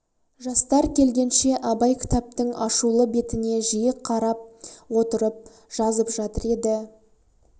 жастар келгенше абай кітаптың ашулы бетіне жиі қарап отырып жазып жатыр еді